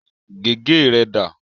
Gègé rẹ dà?